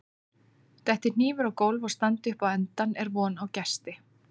Detti hnífur á gólf og standi upp á endann er von á gesti.